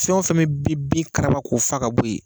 Fɛn o fɛn bɛ bin karaba ko fa ka bɔ yen